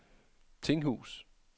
Tinghus